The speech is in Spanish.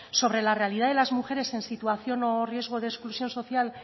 sobre la realidad de las mujeres en situación riesgo de exclusión social